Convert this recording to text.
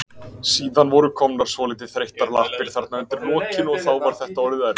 Síðan voru komnar svolítið þreyttar lappir þarna undir lokin og þá var þetta orðið erfitt.